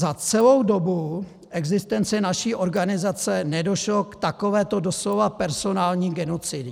Za celou dobu existence naší organizace nedošlo k takovéto doslova personální genocidě.